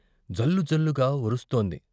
జల్లు జల్లుగా ఒరుస్తోంది.